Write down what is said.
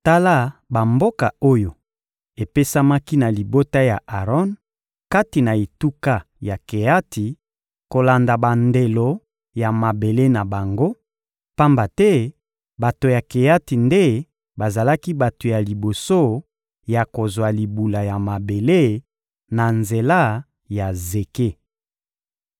Tala bamboka oyo epesamaki na libota ya Aron kati na etuka ya Keati kolanda bandelo ya mabele na bango; pamba te bato ya Keati nde bazalaki bato ya liboso ya kozwa libula ya mabele na nzela ya Zeke: